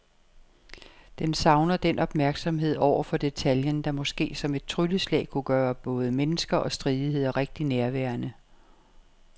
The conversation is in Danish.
Den savner den opmærksomhed over for detaljen, der måske som et trylleslag kunne gøre både mennesker og stridigheder rigtig nærværende.